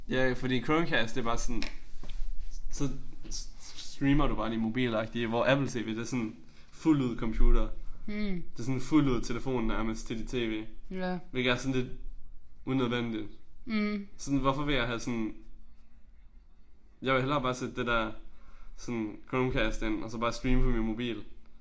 Ja ik fordi Chromecast det bare sådan så streamer du bare din mobil agtigt hvor Apple tv det sådan fuld ud computer. Det sådan fuld ud telefon nærmest til dit tv hvilket er sådan lidt udnødvendigt. Sådan hvorfor vil jeg have sådan jeg vil hellere bare sætte det der sådan Chromecast ind og så bare streame fra min mobil